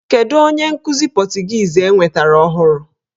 Kedụ onye nkụzi pọtụgiizi enwetara ọhụrụ?